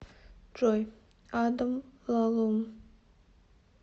джой адам лалум